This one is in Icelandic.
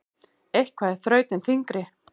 Eitthvað er þrautin þyngri